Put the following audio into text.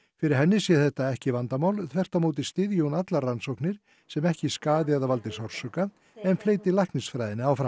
fyrir henni sé þetta ekki vandamál þvert á móti styðji hún allar rannsóknir sem ekki skaði eða valdi sársauka en fleyti læknisfræðinni áfram